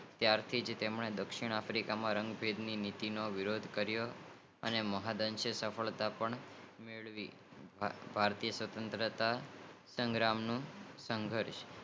ત્યાંથી તેમને દક્ષિણ આફ્રિકામાં રંગભેદની નીતિ નો વિરોધ કારીઓ અમને મહંદઅંશે સફળતા પણ મેળવી ભારતીય સફળતાતાનો સંઘર્ષ